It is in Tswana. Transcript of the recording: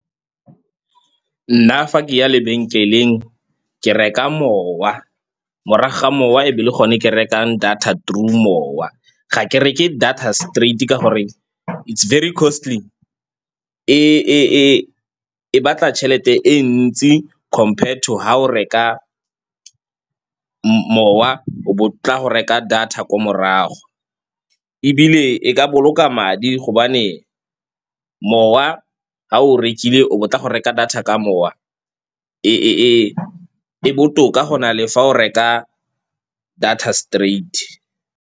Nna fa ke ya lebenkeleng ke reka mowa, morago ga mowa e be le gone ke rekang data through mowa. Ga ke reke data straight-e ka gore it's very costly, e batla tšhelete e ntsi compared to ga o reka mowa bo o tla go reka data ko morago. Ebile e ka boloka ka madi gobane mowa ga o rekile o bo tla go reka data ka mowa e botoka go na le fa o reka data straight.